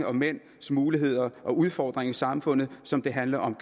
og mænds muligheder og udfordringer i samfundet som det handler om